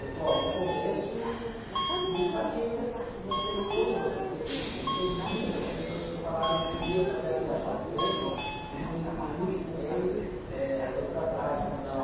Ele falou, ó, no começo não sabia ainda se você ia ou não, porque ele teve muitas pessoas que falaram que iria fazer a viagem com ele e no, no último mês deu para trás, falou, não...